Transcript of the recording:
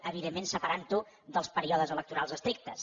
evidentment separant ho dels períodes electorals estrictes